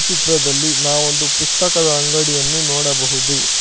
ಚಿತ್ರದಲ್ಲಿ ನಾವೊಂದು ಪುಸ್ತಕದ ಅಂಗಡಿಯನ್ನು ನೋಡಬಹುದು.